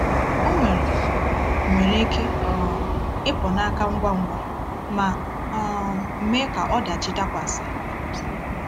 Ọ nwere nwere ike um ịpụ n’aka ngwa ngwa ma um mee ka ọdachi dakwasị.